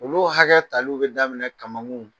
Olu hakɛ tal'u bɛ daminɛ kamankun